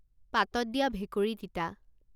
পাতত দিয়া ভেকুৰী তিতা